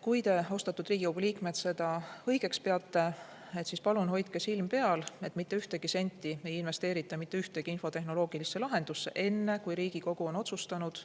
Kui te, austatud Riigikogu liikmed, seda õigeks peate, siis palun hoidke silm peal, et mitte ühtegi senti ei investeerita mitte ühtegi infotehnoloogilisse lahendusse enne, kui Riigikogu on otsustanud,